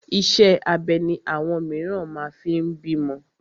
Iṣẹ́ abẹ ni àwọn mìíràn máa fi ń bímọ.